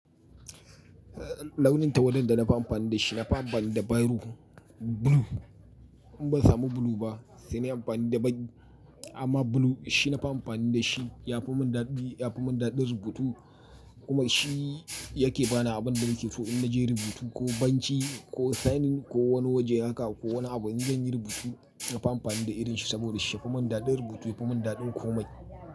Launin tawada da nafi amfani da shi, nafi amfani da Biro, Blue. In ban samu blue ba sai na yi amfani da baƙi. Amma blue shi nafi amfani da shi, ya fi mun daɗi, ya fi mun daɗin rubutu kuma shi yake bani abin da nake so in naje rubutu ko banci ko signing ko wani waje haka ko wani abu in zan yi rubutu. Nafi amfani da irin shi saboda shi ya fi mun daɗin rubutu, ya fi mun daɗin komai.